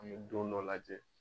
An bɛ don dɔ lajɛ.